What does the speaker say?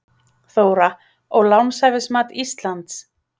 Þóra: Og lánshæfismat Íslands?